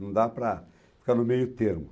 Não dá para ficar no meio termo.